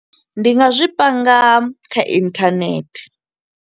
Ndi nga zwi panga kha inthanethe.